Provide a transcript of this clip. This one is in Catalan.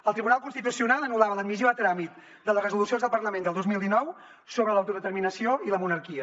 el tribunal constitucional anul·lava l’admissió a tràmit de les resolucions del parlament del dos mil dinou sobre l’autodeterminació i la monarquia